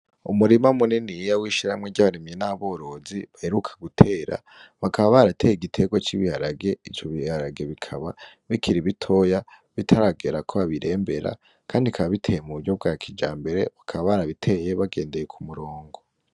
Umurima muneni yiya w'ishiramwe ry'abaremye n'aborozi bahiruka gutera bakaba barateye igitegwa c'ibiharage ico biharage bikaba bikira ibitoya bitaragera ko babirembera, kandi kaba biteye mu buryo bwa kija mbere bakaba barabiteye bagendeye ku murongo.